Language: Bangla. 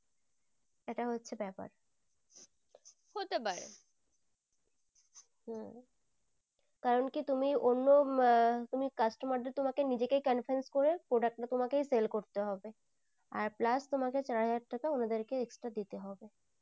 কারণ কি তুমি অন্য আহ তুমি customer দেড়কে তোমাকে নিজেকে convenience করে করতে হবে তোমাকেই sell করতে হবে আর plus তোমাকে চার হাজার টাকা ওনাদের কে দিতে হবে।